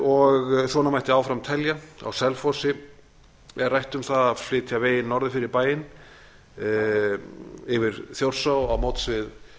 og svona mætti áfram telja á selfossi er rætt um það að flytja veginn norður fyrir bæinn yfir þjórsá á móts við